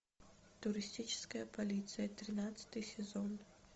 туристическая полиция тринадцатый сезон